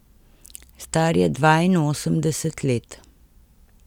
Star je dvainosemdeset let.